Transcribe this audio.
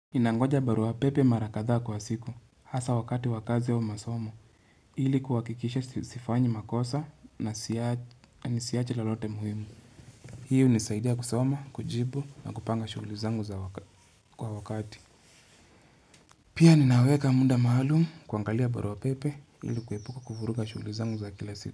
Ninangoja baruapepe mara kadhaa kwa siku, hasa wakati wa kazi au masomo, ili kuhakikisha sifanyi makosa na nisiache lolote muhimu. Hii hunisaidia kusoma, kujibu na kupanga shughuli zangu za wakati. Pia ninaweka muda maalumu kuangalia baruapepe ili kuepuka kuvuruga shughuli zangu za kila siku.